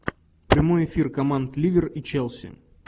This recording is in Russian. прямой эфир команд ливер и челси